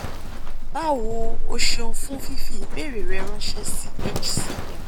bawo o seun fun fifi ibeere re ranse si hcm